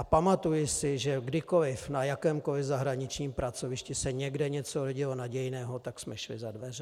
A pamatuji si, že kdykoliv na jakémkoliv zahraničním pracovišti se někde něco jevilo nadějného, tak jsme šli za dveře.